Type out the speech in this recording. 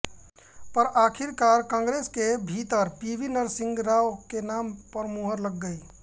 पर आखिरकार कांग्रेस के भीतर पीवी नरसिंह राव के नाम पर मुहर लग गई